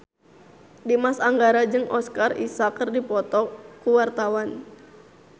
Dimas Anggara jeung Oscar Isaac keur dipoto ku wartawan